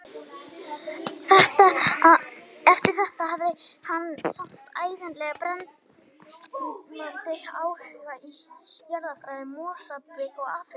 Eftir þetta hafði hann samt ævinlega brennandi áhuga á jarðfræði Mósambík og Afríku allrar.